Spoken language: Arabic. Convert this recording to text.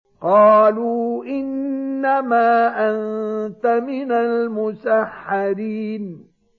قَالُوا إِنَّمَا أَنتَ مِنَ الْمُسَحَّرِينَ